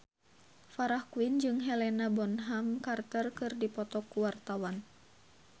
Farah Quinn jeung Helena Bonham Carter keur dipoto ku wartawan